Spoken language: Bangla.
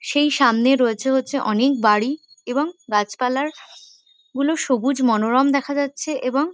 সেই সামনে রয়েছে হচ্ছে অনেক বাড়ি এবং গাছপালার গুলো সবুজ মনোরম দেখা যাচ্ছে এবং--